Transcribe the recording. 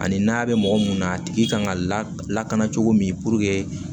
Ani n'a bɛ mɔgɔ mun na a tigi kan ka lakana cogo min